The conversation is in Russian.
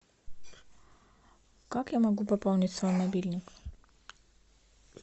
как я могу пополнить свой мобильный